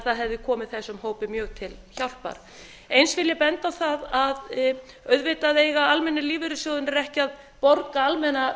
það hefði komið þessum hópi mjög til hjálpar eins vil ég benda á það að auðvitað eiga almennu lífeyrissjóðirnir ekki að borga almenna